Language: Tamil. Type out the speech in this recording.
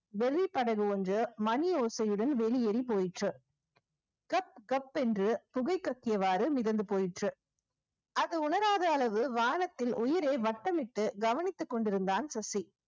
வெளிப்படகு ஒன்று மணி ஓசையுடன் வெளியேறி போயிற்று கப் கப் என்று புகை கசியவாறு மிதந்து போயிற்று அது உணராத அளவு வானத்தில் உயிரே வட்டமிட்டு கவனித்து கொண்டிருந்தான் சுசி